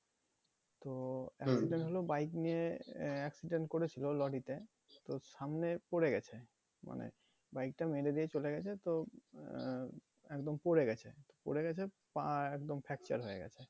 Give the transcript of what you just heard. হলো bike নিয়ে আহ accident করেছিল লরিতে এবার সামনে পরে গেছে bike টা মেরে দিয়ে চলে গেছে তো আহ একদম পড়ে গেছে। পড়ে গেছে পা একদম fracture হয়ে গেছে